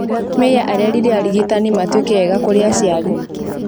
Mĩya arerire arigitani matuĩke eega kũrĩ aciari